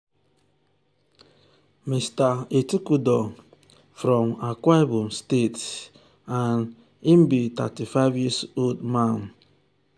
to assemble complete budget dey hep pipul prioritize expenses wen dem relocate to new city.